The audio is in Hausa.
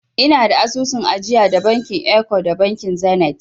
Ina da asusun ajiya da bankin eko da bankin zenit.